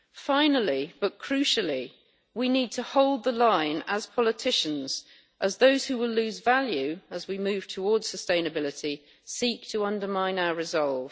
Finally, but crucially, we need to hold the line as politicians as those who will lose value as we move towards sustainability seek to undermine our resolve.